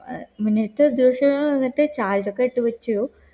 ആഹ് നീ ഇത്ര ദിവസങ്ങൾ വന്നിട്ട് ചായ ഏടുകട്ട വച്ചു